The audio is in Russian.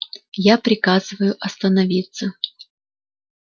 я приказываю остановиться